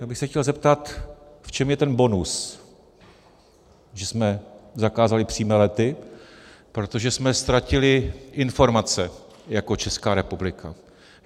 Já bych se chtěl zeptat, v čem je ten bonus, že jsme zakázali přímé lety, protože jsme ztratili informace jako Česká republika.